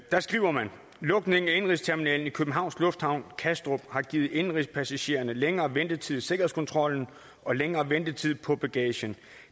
der skriver man lukningen af indenrigsterminalen i københavn lufthavn kastrup har givet indenrigspassagererne længere ventetid i sikkerhedskontrollen og længere ventetid på bagagen